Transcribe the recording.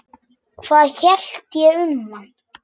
Hvað ég hélt um hann?